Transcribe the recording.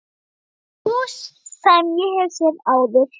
Hús sem ég hef séð áður.